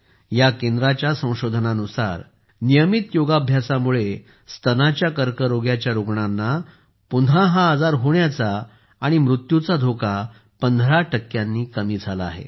या केंद्राच्या संशोधनानुसार नियमित योगाभ्यासामुळे स्तनाच्या कर्करोगाच्या रुग्णांना पुन्हा हा आजार होण्याचा आणि मृत्यूचा धोका 15 टक्क्यांनी कमी झाला आहे